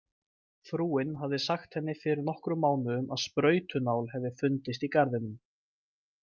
Frúin hafði sagt henni fyrir nokkrum mánuðum að sprautunál hefði fundist í garðinum.